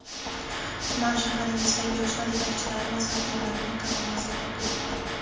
tuman (shahar)ingizdagi yoshlar yetakchilari va sardorlarni kanalimizga taklif qiling.